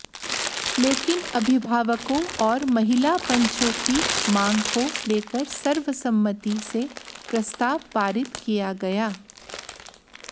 लेकिन अभिभावकों और महिला पंचों की मांग को लेकर सर्वसम्मति से प्रस्ताव पारित किया गया